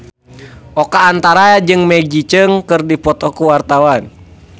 Oka Antara jeung Maggie Cheung keur dipoto ku wartawan